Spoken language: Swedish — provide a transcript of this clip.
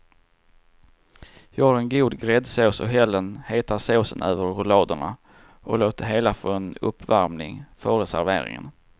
Gör en god gräddsås och häll den heta såsen över rulladerna och låt det hela få en uppvärmning före serveringen.